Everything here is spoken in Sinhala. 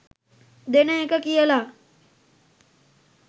දෙන එක කියලා .